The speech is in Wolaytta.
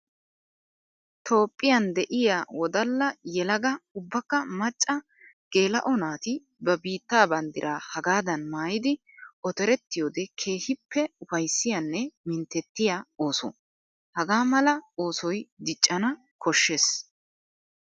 Toophphiyan de'iya wodalla yelaga ubbakka macca geela'o naati ba biitta banddira hagaadan maayiddi ottorettiyoode keehippe ufayssiyanne minttetiya ooso. Hagaa mala oosoy diccanna koshees.